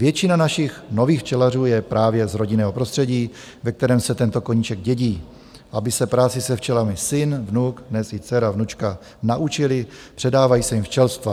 Většina našich nových včelařů je právě z rodinného prostředí, ve kterém se tento koníček dědí, aby se práci se včelami syn, vnuk, dnes i dcera, vnučka naučili, předávají se jim včelstva.